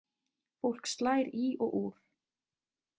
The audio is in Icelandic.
Fólk slær í og úr.